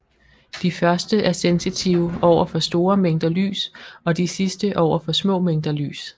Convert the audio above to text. De første er sensitive over for store mængder lys og de sidste over for små mængder lys